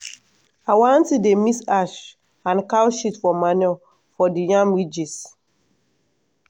our aunty dey mix ash and cow shit for manure for the yam ridges